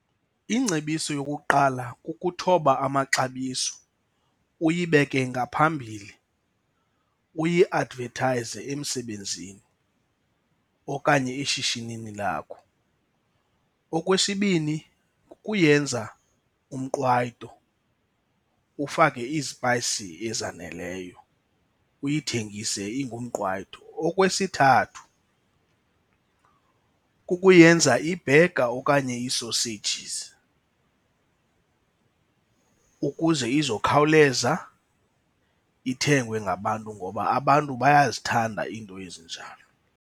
Ingcebiso yokuqala kukuthoba amaxabiso uyibeke ngaphambili, uyiadvethayize emsebenzini okanye eshishinini lakho. Okwesibini kukuyenza umqwayto, ufake izipayisi ezaneleyo uyithengise ingumqwayto. Okwesithathu kukuyenza ibhega okanye iisoseyijizi ukuze izokhawuleza ithengwe ngabantu ngoba abantu bayazithanda iinto ezinjalo.